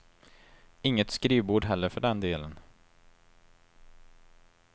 Inget skrivbord heller för den delen.